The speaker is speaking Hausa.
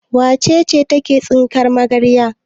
Wace ce take tsinkar magarya?